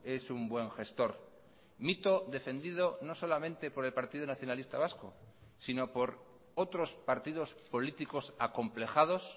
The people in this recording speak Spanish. es un buen gestor mito defendido no solamente por el partido nacionalista vasco sino por otros partidos políticos acomplejados